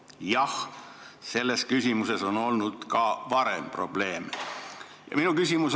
Jah, selles küsimuses on olnud ka varem probleeme.